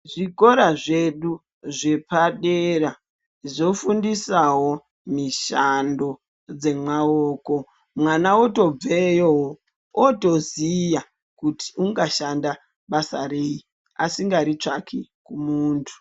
Zvikora zvedu zvepadera zvofundisawo mishando dzemaoko, mwana otobveyowo otoziya kuti ungashanda basa rei asingari tsvaki kumuntu.